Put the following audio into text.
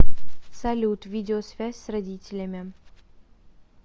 салют видеосвязь с родителями